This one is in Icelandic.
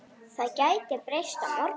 Það gæti breyst á morgun.